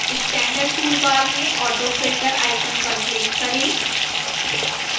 standard toolbar में auto filter icon पर click करें